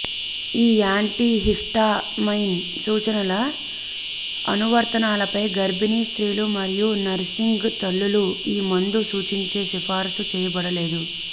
ఈ యాంటిహిస్టామైన్ సూచనల అనువర్తనాలపై గర్భిణీ స్త్రీలు మరియు నర్సింగ్ తల్లులు ఈ మందు సూచించే సిఫారసు చేయబడలేదు